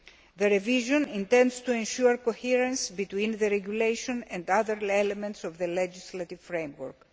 The revision intends to ensure coherence between the regulation and other elements of the legislative framework.